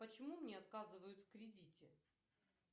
почему мне отказывают в кредите